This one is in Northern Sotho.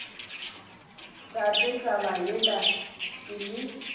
tate taba yela ke le